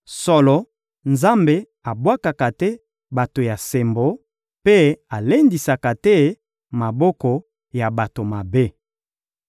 Solo, Nzambe abwakaka te bato ya sembo, mpe alendisaka te maboko ya bato mabe.